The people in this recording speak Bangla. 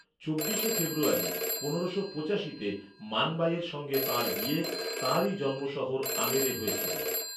চব্বিশে ফেব্রুয়ারী পনেরোশো পঁচাশিতে, মান বাঈয়ের সঙ্গে তাঁর বিয়ে, তাঁরই জন্মশহর আমেরে হয়েছিল।